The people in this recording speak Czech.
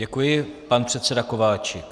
Děkuji, pan předseda Kováčik.